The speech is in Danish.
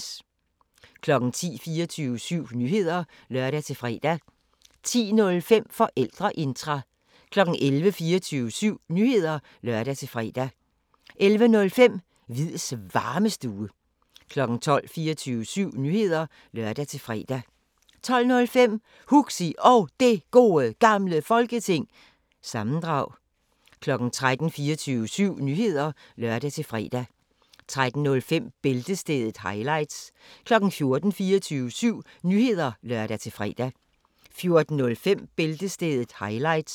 10:00: 24syv Nyheder (lør-fre) 10:05: Forældreintra 11:00: 24syv Nyheder (lør-fre) 11:05: Hviids Varmestue 12:00: 24syv Nyheder (lør-fre) 12:05: Huxi Og Det Gode Gamle Folketing- sammendrag 13:00: 24syv Nyheder (lør-fre) 13:05: Bæltestedet – highlights 14:00: 24syv Nyheder (lør-fre) 14:05: Bæltestedet – highlights